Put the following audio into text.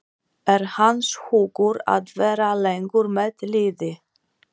Er hans hugur að vera lengur með liðið?